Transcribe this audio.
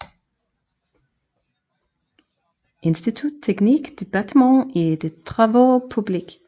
Institut technique du batiment et des travaux publics